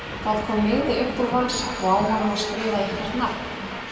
En það kom miði upp úr vasa og á hann var skrifað eitthvert nafn.